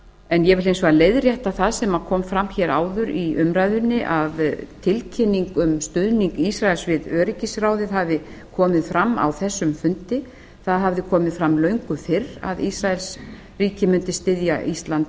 en ég vil hins vegar leiðrétta það sem kom fram áður í umræðunni að tilkynning um stuðning ísraels við öryggisráðið hafi komið fram á þessum fundi það hafði komið fram löngu fyrr að ísraelsríki mundi styðja ísland